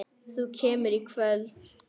Þú kemur í kvöld!